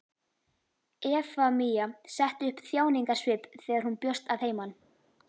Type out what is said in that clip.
Efemía setti upp þjáningarsvip þegar hann bjóst að heiman.